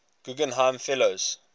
guggenheim fellows